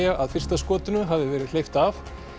að fyrsta skotinu hafi verið hleypt af